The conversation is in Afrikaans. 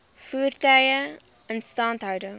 voertuie instandhouding